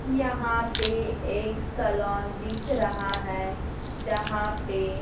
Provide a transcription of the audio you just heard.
यहाँ पे एक सैलोन दिख रहा है जहाँ पे --